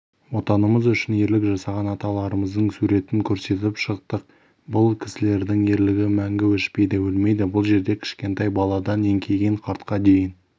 отанымыз үшін ерлік жасаған аталарымыздың суретін көрсетіп шықтық бұл кісілердің ерлігі мәңгі өшпейді өлмейді бұл жерде кішкентай баладан еңкейген қартқа дейін